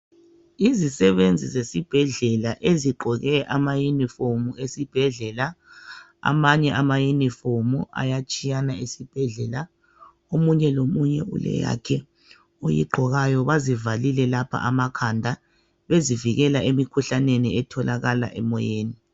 Yizisebenzi zesibhedlela ezigqoke amayunifomu esibhedlela. Amanye amayunifomu ayatshiyana esibhedlela ,omunye lomunye uleyakhe oyigqokayo. Bazivalile lapha amakhanda bezivikela emikhuhlaneni etholakala emoyeni.